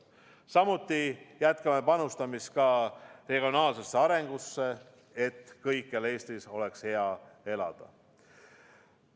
Samuti jätkame panustamist regionaalsesse arengusse, et kõikjal Eestis oleks hea elada.